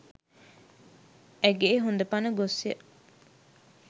ඇගේ හොඳ පණ ගොස්ය.